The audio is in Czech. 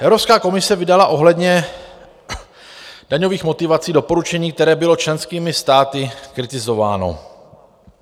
Evropská komise vydala ohledně daňových motivací doporučení, které bylo členskými státy kritizováno.